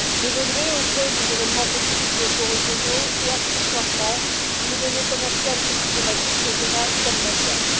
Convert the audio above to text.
Évoluer au gré des événements politiques locaux, régionaux et, accessoirement, de données commerciales et diplomatiques régionales comme mondiales.